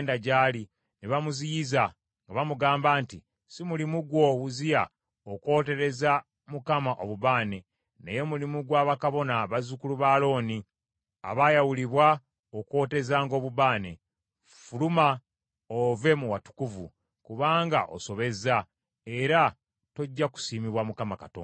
ne bamuziyiza, nga bamugamba nti, “Si mulimu gwo, Uzziya, okwotereza Mukama obubaane, naye mulimu gwa bakabona bazzukulu ba Alooni abaayawulibwa okwotezanga obubaane. Ffuluma ove mu watukuvu, kubanga osobezza, era tojja kusiimibwa Mukama Katonda.”